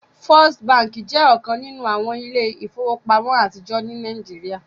First Bánkì jẹ́ ọkan nínu awọn ilẹ̀-ifowopamọ̀ atijọ ní Nàìjíríà.